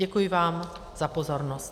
Děkuji vám za pozornost.